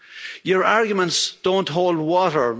Your arguments don't hold water.